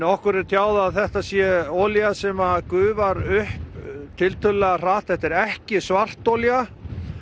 okkur er tjáð að þetta sé olía sem gufar upp tiltölulega hratt þetta er ekki svartolía